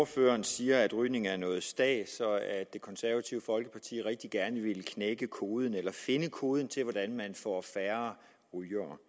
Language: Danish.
ordføreren siger at rygning er noget stads og at det konservative folkeparti rigtig gerne ville knække koden eller finde koden til hvordan man får færre rygere